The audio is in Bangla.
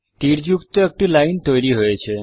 তীরযুক্ত একটি লাইন তৈরী হয়েছে